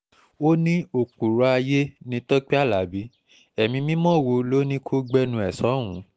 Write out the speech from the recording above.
ó ní òpùrọ́ ayé ni tọ́pẹ alábi ẹ̀mí mímọ́ wo ló ní kó gbẹnu sọ́hùn-ún